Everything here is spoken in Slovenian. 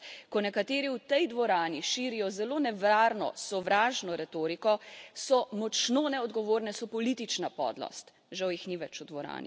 In razprave, kot so danes, ko nekateri v tej dvorani širijo zelo nevarno sovražno retoriko, so močno neodgovorne, so politična podlost.